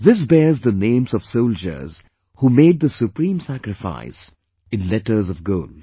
This bears the names of soldiers who made the supreme sacrifice, in letters of gold